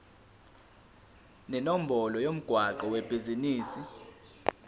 nenombolo yomgwaqo webhizinisi